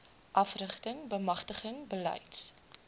afrigting bemagtiging beleids